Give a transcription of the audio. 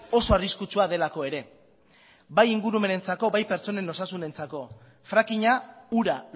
oso arriskutsua delako ere bai ingurumenarentzako bai pertsonen osasunentzako frakinga ura